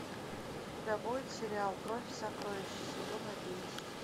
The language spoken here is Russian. у тебя будет сериал кровь и сокровище сезон одиннадцать